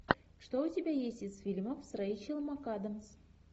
что у тебя есть из фильмов с рэйчел макадамс